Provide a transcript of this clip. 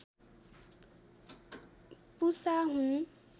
पुषा हुन्